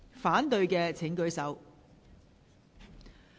反對的請舉手。